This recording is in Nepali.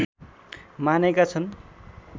मानेका छन्